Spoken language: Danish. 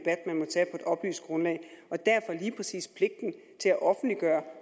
oplyst grundlag og derfor lige præcis pligten til at offentliggøre